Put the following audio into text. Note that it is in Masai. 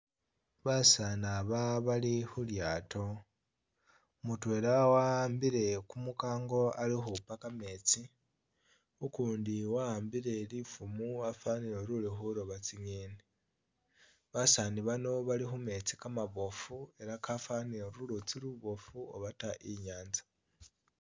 Basani aba bali khulyaato mutwela wa'ambile kumukango ali ukhupa kametsi ukundi wa'ambile lifumo wafanile uli khulooba tsi'ngeni basaani bano bali khumetsi kamaboofu elah kafanile ulutsi kuboofu oba ta i'nyanza